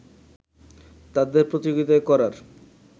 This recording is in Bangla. তাদের প্রতিযোগিতা করার